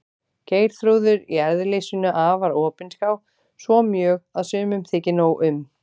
Geirþrúður í eðli sínu afar opinská, svo mjög að sumum þykir nóg um.